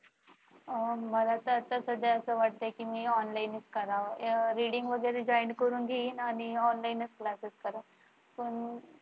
मला तर आता सध्या असं वाटतंय की मी online च करावं अह reading वगैरे join करून घेईन आणि online च classes करेन